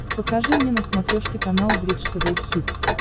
покажи мне на смотрешке канал бридж тв хитс